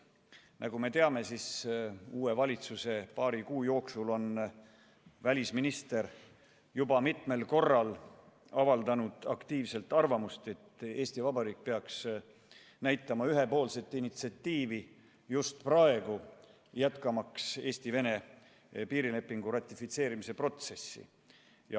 Nagu me teame, uue valitsuse paari kuu jooksul on välisminister juba mitmel korral avaldanud aktiivselt arvamust, et Eesti Vabariik peaks just praegu näitama üles ühepoolset initsiatiivi, jätkamaks Eesti-Vene piirilepingu ratifitseerimise protsessi.